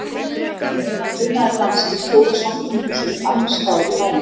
Á meðan dunaði dansinn í stóra samkomuhúsinu annars staðar í bænum.